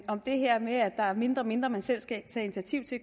om det her med at der er mindre og mindre man selv skal tage initiativ til